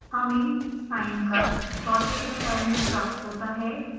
हमें sine curve dotted style में प्राप्त होता है